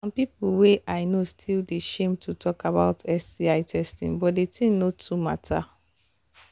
some people way i know still they shame to talk about sti testing but the thing no too matter